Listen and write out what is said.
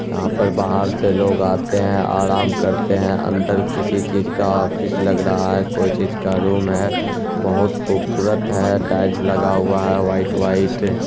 यहाँ पर बाहर से लोग आते हैं आराम करते है| अंदर किसी चीज का ऑफिस लग रहा है कोई चीज का रूम है बहुत खूबसूरत है टाइल्स लगा हुआ है वाइट - वाइट |